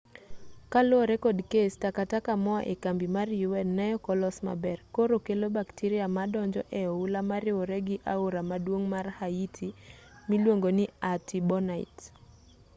kaluwore kod kes takataka moa e kambi mar un neok olos maber koro kelo bacteria madonjo e oula mariwore gi aora maduong' mar haiti miluongo ni artibonite